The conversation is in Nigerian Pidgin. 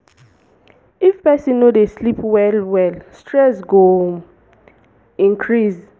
if person no dey sleep well well stress go increase